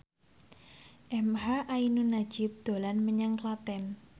emha ainun nadjib dolan menyang Klaten